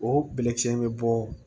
O bɛlɛkisɛnin bɛ bɔ